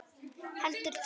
Heldur tvær.